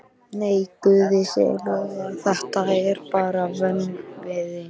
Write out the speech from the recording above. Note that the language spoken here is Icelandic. Nei, guði sé lof að þetta er bara vöðvinn.